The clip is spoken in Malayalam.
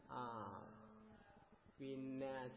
ആഹ് പിന്നെ